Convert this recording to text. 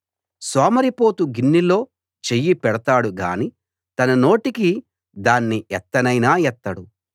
సోమరిపోతు గిన్నెలో చెయ్యి పెడతాడుగానీ తన నోటికి దాన్ని ఎత్తనైనా ఎత్తడు